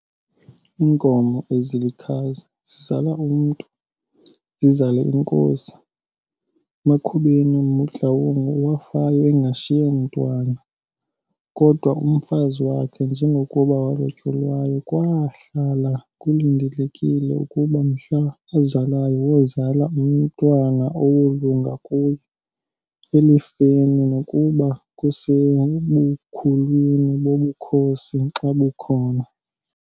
Iinkomo ezilikhazi zizala umntu, zizale inkosi, makubeni uMotloang wafayo engashiye mntwana, kodwa umfazi wakhe njengokuba walotyolwayo kwaahlala kulindelekile ukuba mhla azalayo wozala umntwana owolunga kuye, elifeni nokuba kusebukhulwini bobukhosi xa bukho.